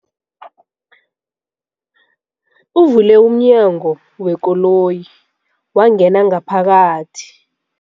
Uvule umnyango wekoloyi wangena ngaphakathi.